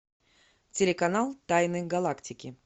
телеканал тайны галактики